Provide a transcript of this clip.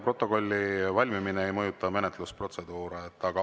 Protokolli valmimine ei mõjuta menetlusprotseduure.